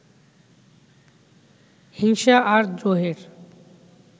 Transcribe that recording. হিংসা আর দ্রোহের